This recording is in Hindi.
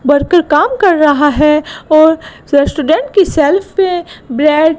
वर्कर काम कर रहा है और रेस्टूडेंट की सेल्फ पे ब्रेड --